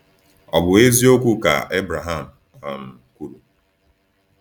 Ọ̀ bụ eziokwu ka Ebraham um kwuru?